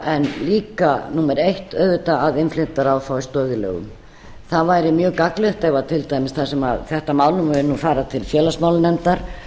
en líka númer eitt auðvitað að innflytjendaráð fái stoð í lögum það væri mjög gagnlegt ef til dæmis þar sem þetta mál mun nú fara til félagsmálanefndar